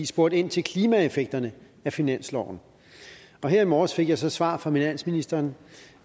spurgt ind til klimaeffekterne af finansloven her i morges fik jeg så svar fra finansministeren